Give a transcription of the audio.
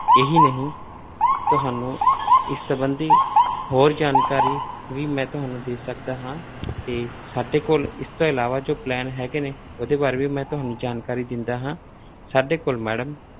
ਇਹੀ ਨਹੀਂ ਤੁਹਾਨੂੰ ਇਸ ਸੰਬੰਧੀ ਹੋਰ ਜਾਣਕਾਰੀ ਵੀ ਮੈਂ ਤੁਹਾਨੂੰ ਦੇ ਸਕਦਾ ਹਾਂ ਤੇ ਸਾਡੇ ਕੋਲ ਇਸ ਤੋਂ ਇਲਾਵਾ ਜੋ plan ਹੈਗੇ ਨੇ, ਉਹਦੇ ਬਾਰੇ ਵੀ ਮੈਂ ਤੁਹਾਨੂੰ ਜਾਣਕਾਰੀ ਦਿੰਦਾ ਹਾਂ ਸਾਡੇ ਕੋਲ madam